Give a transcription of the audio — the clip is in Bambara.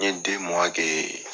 N ye kɛ.